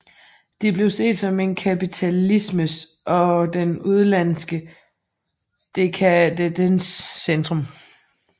De blev set som en kapitalismens og den udenlandske dekadences centrum